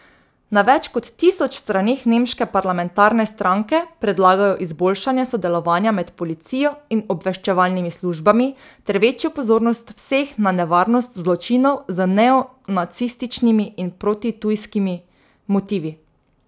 Na več kot tisoč straneh nemške parlamentarne stranke predlagajo izboljšanje sodelovanja med policijo in obveščevalnimi službami ter večjo pozornost vseh na nevarnost zločinov z neonacističnimi in protitujskimi motivi.